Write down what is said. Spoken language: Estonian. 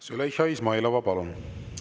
Züleyxa Izmailova, palun!